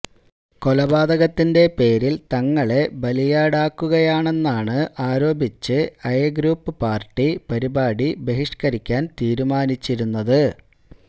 കൊലപാതകത്തിന്റെ പേരില് തങ്ങളെ ബലിയാടാക്കുകയാണെന്ന് ആരോപിച്ചാണ് ഐ ഗ്രൂപ്പ് പാര്ട്ടി പരിപാടി ബഹിഷ്കരിക്കാന് തീരുമാനിച്ചിരുന്നത്